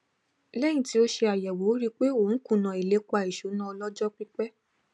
lẹyìn tí ó ṣe àyèwò ó rí pé òun kùnà ilépa ìṣúná ọlọjọpípẹ